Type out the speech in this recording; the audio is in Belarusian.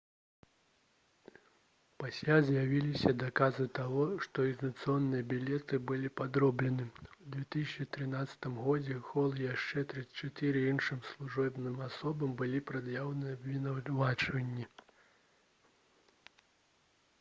пасля з'явіліся доказы таго што экзаменацыйныя білеты былі падроблены у 2013 годзе хол і яшчэ 34 іншым службовым асобам былі прад'яўлены абвінавачванні